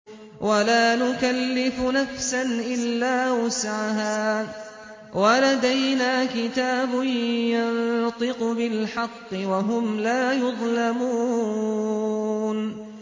وَلَا نُكَلِّفُ نَفْسًا إِلَّا وُسْعَهَا ۖ وَلَدَيْنَا كِتَابٌ يَنطِقُ بِالْحَقِّ ۚ وَهُمْ لَا يُظْلَمُونَ